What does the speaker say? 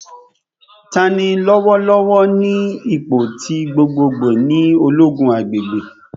Tani lọwọlọwọ ni ipo ti gbogbogbo ni ologun agbegbe?